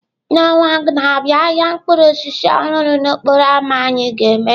N'ọnwa na-abịa, ahịa mkpụrụ osisi ọhụrụ n'okporo ámá anyị ga-emeghe.